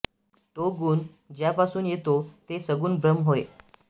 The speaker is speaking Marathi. तो गुण ज्यापासून येतो ते सगुण ब्रम्ह होय